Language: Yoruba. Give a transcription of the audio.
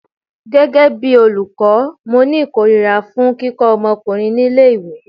Gẹ́gẹ́ bí olùkọ́, mo ni ìkórìíra fún kíkọ́ omokunrin ní ilé ìwé.